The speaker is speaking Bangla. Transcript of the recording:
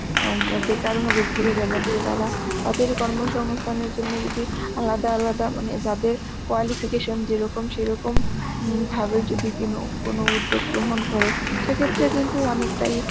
আ উম বেকার ভাবে ঘুরে বেড়াচ্ছে তারা, তাদের কর্মসংস্থানের জন্য যদি আলাদা আলাদা মানে যাদের qualification যেরকম সেরকম উম ভাবে যদি কোনো, কোন উদ্যোগ গ্রহণ করে সে ক্ষেত্রে কিন্তু অনেকটাই